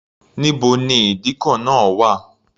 Níbo ni ìdíkọ̀ náà wà?